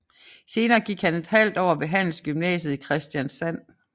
Senere gik han en halvt år ved Handelsgymnasiet i Kristiansand